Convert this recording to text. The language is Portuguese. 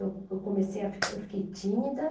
Eu, eu comecei a ficar, eu fiquei tímida.